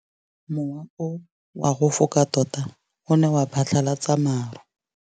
Mowa o wa go foka tota o ne wa phatlalatsa maru.